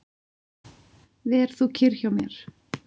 Ver þú kyrr hjá mér.